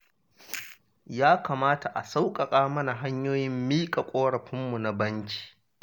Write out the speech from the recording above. Ya kamata a sauƙaƙa mana hanyoyin miƙa ƙorafinmu na banki